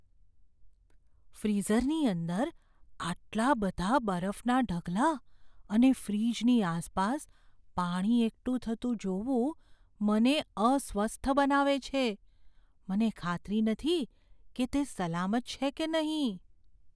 ફ્રીઝરની અંદર આટલા બધા બરફના ઢગલા અને ફ્રીજની આસપાસ પાણી એકઠું થતું જોવું મને અસ્વસ્થ બનાવે છે, મને ખાતરી નથી કે તે સલામત છે કે નહીં.